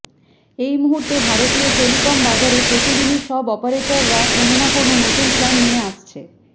এই মুহুর্তে ভারতীয় টেলিকম বাজারে প্রতিদিনই সব অপারেটাররা কোন না কোন নতুন প্ল্যান নিয়ে আসছে